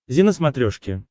зи на смотрешке